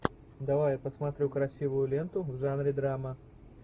давай я посмотрю красивую ленту в жанре драма